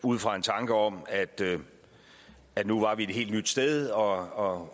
ud fra en tanke om at at nu var vi et helt nyt sted og